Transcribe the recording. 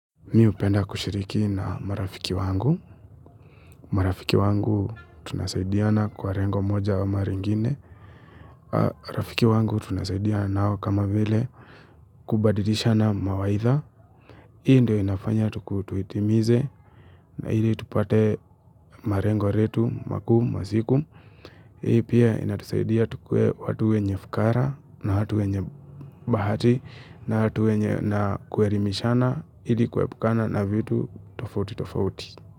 Mi hupenda kushiriki na marafiki wangu. Marafiki wangu tunasaidiana kwa lengo moja ama lingine. Marafiki wangu tunasaidiana nao kama vile kubadilishana mawaidha. Hii ndio inafanya tuitimize na ili tupate malengo letu, makuu, ya siku. Hii pia inatusaidia tukuwe watu wenye fukara na watu wenye bahati na watu wenye na kuelimishana. Ili kuepukana na vitu tofauti tofauti.